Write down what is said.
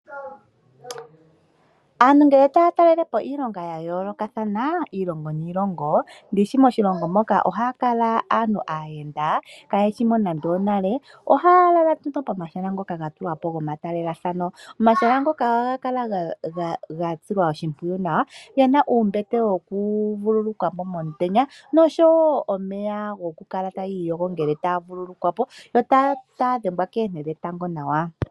Aantu ngele taya talelepo iilongo ya yoolokothana iilongo niilongo ndishi moshilongo moka ohaya kala aantu aayenda ka yeshi mo nande onale. Ohaya lala pomahala ngoka gatulwa po gomatalelathano. Omahala ngoka ohaga kala ga silwa oshimpwiyu gena uumbete wokuvulukwa po momutenya oshowo omeya goku kala tayi iyogo ngele taya vulukwa po yo taya dhengwa koonte dhetango nawa.